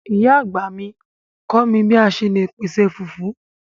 Ìyá àgbà mi kọ mi bi a ṣe le pese fufu